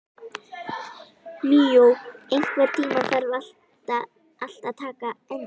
Míó, einhvern tímann þarf allt að taka enda.